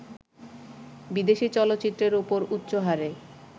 বিদেশি চলচ্চিত্রের ওপর উচ্চহারে